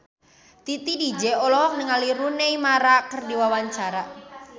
Titi DJ olohok ningali Rooney Mara keur diwawancara